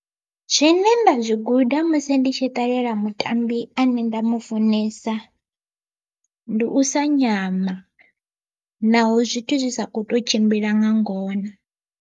Zwine nda zwi guda musi nditshi ṱalela mutambi ane nda mu funesa ndi u sa nyama, naho zwithu zwi sa ko to tshimbila nga ngona.